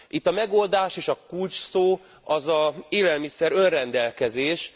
Itt a megoldás és a kulcsszó az élelmiszer önrendelkezés.